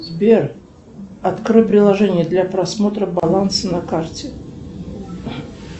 сбер открой приложение для просмотра баланса на карте